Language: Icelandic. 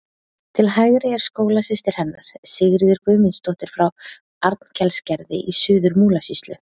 Til hægri er skólasystir hennar, Sigríður Guðmundsdóttir frá Arnkelsgerði í Suður-Múlasýslu.